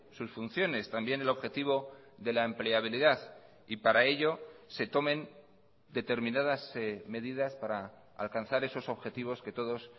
sus funciones también el objetivo de la empleabilidad y para ello se tomen determinadas medidas para alcanzar esos objetivos que todos